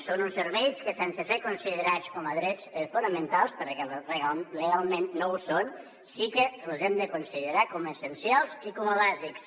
són uns serveis que sense ser considerats com a drets fonamentals perquè legalment no ho són sí que els hem de considerar com a essencials i com a bàsics